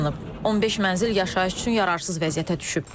15 mənzil yaşayış üçün yararsız vəziyyətə düşüb.